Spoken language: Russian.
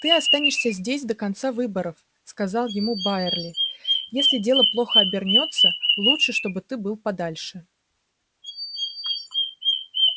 ты останешься здесь до конца выборов сказал ему байерли если дело плохо обернётся лучше чтобы ты был подальше